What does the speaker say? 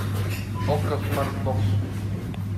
окко смартбокс